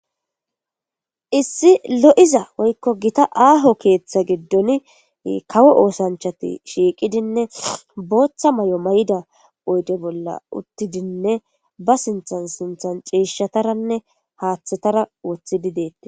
Issi lo'iza woykko gita aaho keeththa giddoni kawo osanchchati shiiqidine booththa mayo mayida oyde bolla uttidinne ba sinththan sinththan ciishshataranne haaththetara woththidi detees.